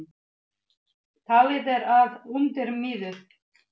Talið er að undir miðju